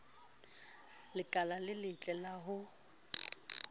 lekala le letle la ho